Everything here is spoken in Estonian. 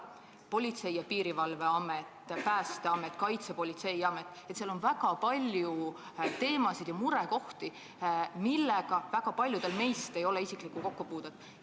Politsei- ja Piirivalveamet, Päästeamet, Kaitsepolitseiamet – seal on väga palju teemasid ja murekohti, millega paljudel meist ei ole isiklikku kokkupuudet.